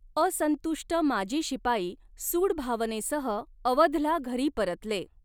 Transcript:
असंतुष्ट माजी शिपाई सूडभावनेसह अवधला घरी परतले.